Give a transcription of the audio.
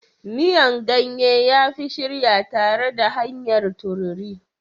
Miyan ganye ya fi shirya tare da hanyar tururi.